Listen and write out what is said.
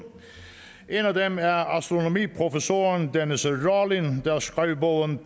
en af dem er astronomiprofessoren dennis rawlin der skrev bogen